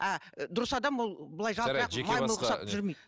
а дұрыс адам ол былай жалтырақ